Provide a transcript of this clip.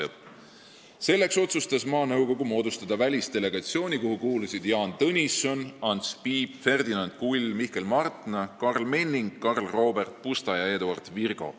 " Selleks otsustas maanõukogu moodustada välisdelegatsiooni, kuhu kuulusid Jaan Tõnisson, Ants Piip, Ferdinand Kull, Mihkel Martna, Karl Menning, Karl Robert Pusta ja Eduard Virgo.